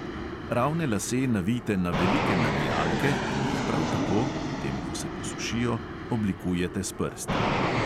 Ravne lase navijte na velike navijalke in jih prav tako, potem ko se posušijo, oblikujete s prsti.